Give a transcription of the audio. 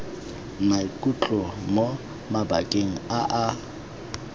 maikutlo mo mabakeng a a